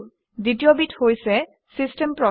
দ্বিতীয়বিধ হৈছে system process